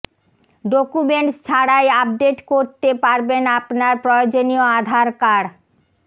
documents ছাড়াই update করতে পারবেন আপনার প্রয়োজনীয় আধার কার্ড